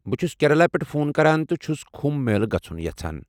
بہٕ چھس کیرالہ پٮ۪ٹھ فون کران تہٕ چھٗس کٗمبھ میلہ گژھٗن یژھان ۔